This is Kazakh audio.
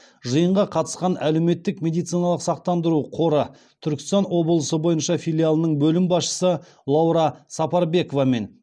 жиынға қатысқан әлеуметтік медициналық сақтандыру қоры түркістан облысы бойынша филиалының бөлім басшысы лаура сапарбекова мен